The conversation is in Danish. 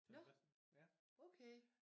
Nåh okay